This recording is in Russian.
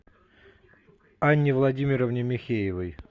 анне владимировне михеевой